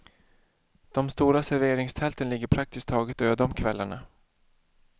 De stora serveringstälten ligger praktiskt taget öde om kvällarna.